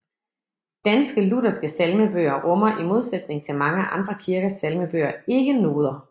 Danske lutherske salmebøger rummer i modsætning til mange andre kirkers salmebøger ikke noder